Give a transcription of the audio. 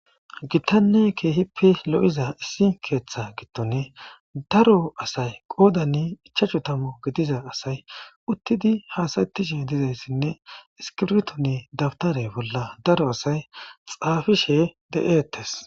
gittanne keehippe lo7iza issi keeththa gittone daro asay qoodanni ichachu tamu gidiza asay uttidi haasaetishe dizayssinne iskirtoni dabtare bolla daro asay xaafishe de7eettes